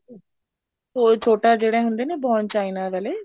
ਉਹ ਛੋਟਾ ਜਿਹੜੇ ਹੁੰਦੇ ਨੀ bone china ਵਾਲੇ